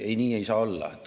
Ei, nii ei saa olla.